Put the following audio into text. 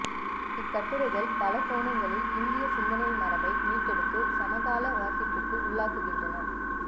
இக்கட்டுரைகள் பல கோணங்களில் இந்திய சிந்தனை மரபை மீட்டெடுத்து சமகால வாசிப்புக்கு உள்ளாக்குகின்றன